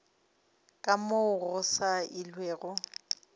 ka moo go sa elwego